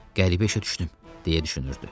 Qəribə işə düşdüm, deyə düşünürdü.